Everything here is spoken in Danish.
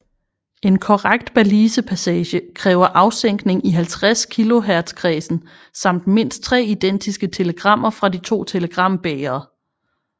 En korrekt Balisepassage kræver afsænkning i 50 kHz kredsen samt mindst 3 identiske telegrammer fra de to telegrambægre